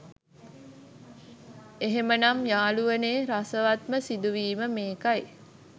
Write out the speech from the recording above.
එහෙමනම් යාළුවනේ රසවත්ම සිදුවීම මේකයි